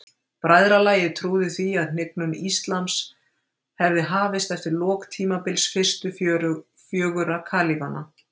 Bræðralagið trúði því að hnignun íslams hefði hafist eftir lok tímabils fyrstu fjögurra kalífanna.